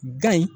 Gan in